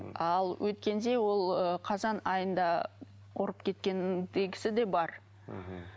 ал өткенде ол ы қазан айында ұрып кеткендегісі де бар мхм